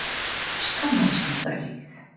Ég skammaðist mín örlítið.